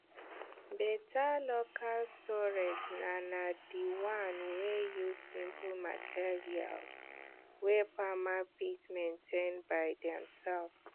better local storage na na the one wey use simple material wey farmer fit maintain by demself